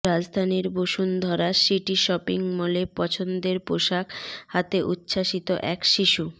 রাজধানীর Bashundhara city shopping মলে পছন্দের পোশাক হাতে উচ্ছ্বসিত এক শিশু